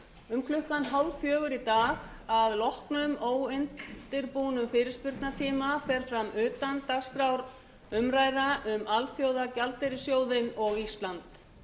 um klukkan þrjú þrjátíu í dag að loknum óundirbúnum fyrirspurnatíma fer fram utandagskrárumræða um alþjóðagjaldeyrissjóðinn og ísland